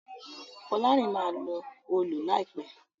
Folarin má lọ Òòlù láìpé